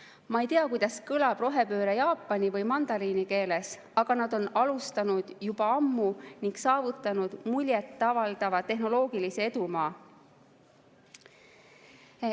Ma ei tea, kuidas kõlab rohepööre jaapani või mandariini keeles, aga nad on seda juba ammu alustanud ning saavutanud muljet avaldava tehnoloogilise edumaa.